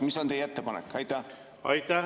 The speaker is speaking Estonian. Mis on teie ettepanek?